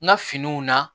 N ka finiw na